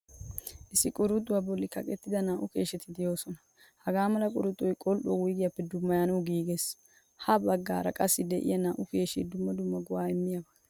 Issi quruc=xuwaa bolli kaqqettida naa'u keesheti deosona. Hagaa mala quruxoy qol'uwaa huygeppe dummayanawu giigees. Ha baggaara qassi de'iyaa naa'u keeshshee dumma dumma go'a immiyaba.